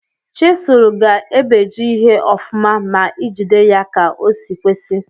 Chisul ga ebeji ihe ọfụma ma ijide ya ka osi kwesi.